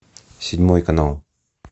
седьмой канал